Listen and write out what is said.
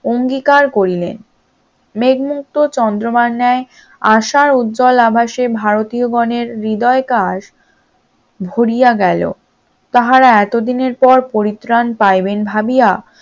অঙ্গীকার করিলেন, মেঘ মুক্ত চন্দ্রমার ন্যায় আসার উজ্জ্বল আভাসে ভারতীয় গনের হৃদয় কার ভরিয়া গেল, তাহারা এত দিনের পর পরিত্রাণ পাবেন ভাবিয়া